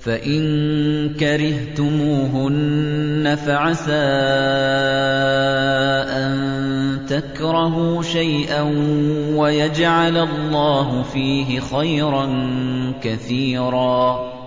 فَإِن كَرِهْتُمُوهُنَّ فَعَسَىٰ أَن تَكْرَهُوا شَيْئًا وَيَجْعَلَ اللَّهُ فِيهِ خَيْرًا كَثِيرًا